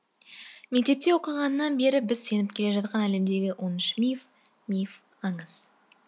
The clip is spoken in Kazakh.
мектепте оқығаннан бері біз сеніп келе жатқан әлемдегі он үш миф миф аңыз